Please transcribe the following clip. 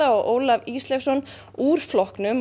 og Ólaf Ísleifsson úr flokknum